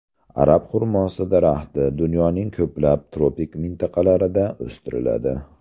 Arab xurmosi daraxti dunyoning ko‘plab tropik mintaqalarida o‘stiriladi.